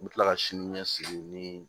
N bɛ tila ka sini ɲɛsigi ni